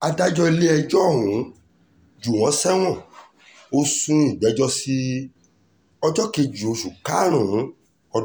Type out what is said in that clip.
adájọ́ ilé-ẹjọ́ ọ̀hún jù wọ́n sẹ́wọ̀n ò sún ìgbẹ́jọ́ sí ọjọ́ kejì oṣù karùn-ún ọdún yìí